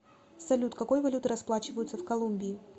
салют какой валютой расплачиваются в колумбии